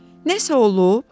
Nəysə olub?